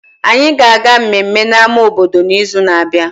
Anyị ga-aga mmemme na ama obodo n'izu na-abịa